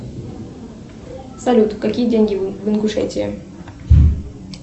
салют какие деньги в ингушетии